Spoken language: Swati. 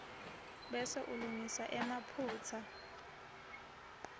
bese ulungisa emaphutsa